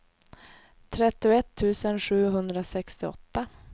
trettioett tusen sjuhundrasextioåtta